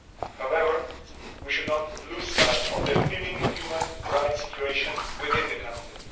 However, we should not lose sight of the appalling human rights situation within the country.